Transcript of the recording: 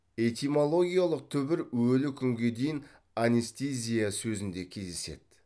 этимологиялық түбір өлі күнге дейін анестезия сезінде кездеседі